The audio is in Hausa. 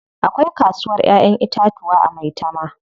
Akwai kasuwar Ƴaƴan itatuwa a Maitama.